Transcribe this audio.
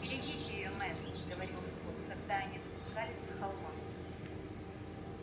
берегите её мэтт говорил скотт когда они спускались с холма